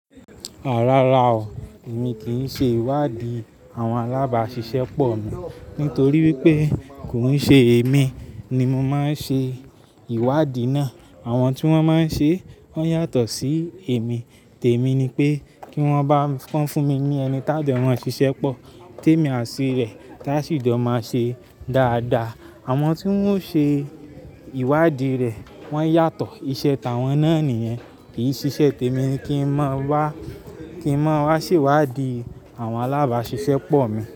Rárá o, èmi kì í ṣe ìwádìí àwọn alábàáṣiṣẹ́ pọ̀ mi. Nítorí wípé kò ń ṣe èmi ni mo máa ń ṣe ìwádìí náà. Àwọn tí wọ́n máa ń ṣe wọ́n yàtọ̀ sí èmi. Tèmi ni pé kí wọ́n bá ń fún mi ní ẹni tájo mọn ṣiṣẹ́ pọ̀, tèmi àti rẹ̀ tá sì jọ máa ṣe dáadáa. Àwọn tí wọ́n ṣe ìwádìí rẹ̀ wọ́n yàtọ̀. Ìṣe tàwọn náà nìyẹn kì í ṣe iṣẹ́ tèmi kí ń mọ wá, kí ń mọ wá ṣèwádìí àwọn alábáṣiṣẹ́ pọ̀ mi.